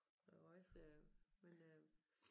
Der var også men øh